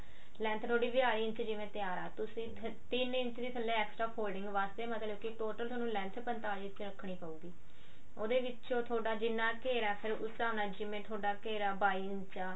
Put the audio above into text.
length ਜਿਵੇਂ ਵਿਆਲੀ inch ਥੋਡੀ ਤਿਆਰ ਆ ਤੁਸੀਂ ਤਿੰਨ ਇੰਚ ਦੀ ਥੱਲੇ extra folding ਵਾਸਤੇ ਮਤਲਬ total ਤੁਹਾਨੂੰ length ਪੰਤਾਲੀ ਇੰਚ ਰੱਖਣੀ ਪਉਗੀ ਉਹਦੇ ਵਿੱਚ ਜਿੰਨਾ ਤੁਹਾਡਾ ਘੇਰਾ ਫੇਰ ਉਸ ਹਿਸਾਬ ਨਾਲ ਜਿਵੇਂ ਥੋਡਾ ਘੇਰਾ ਬਾਈ ਇੰਚ ਆ